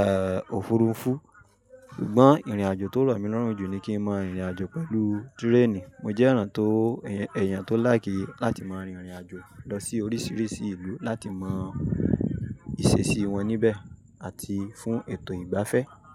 è, òfurufú. Ṣùgbọ́n ìrìnàjò tó lọ̀ mí lọ́rùn jù ni kí n máa rìn ìrìnàjò pẹ̀lú tírénì. Mo jẹ́ èèyàn tó, èèyàn tó láìkí láti máa rin ìrìnàjò lọ sí oríṣìíríṣìí ìlú láti mọ ìṣesí wọn níbẹ̀ àti fún ètò ìgbafẹ́